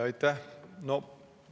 Aitäh!